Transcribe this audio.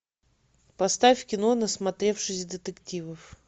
поставь кино насмотревшись детективов